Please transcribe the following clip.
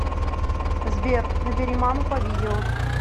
сбер набери маму по видео